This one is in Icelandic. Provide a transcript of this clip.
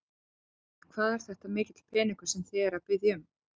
Logi: Hvað er þetta mikill peningur sem þið eruð að biðja um?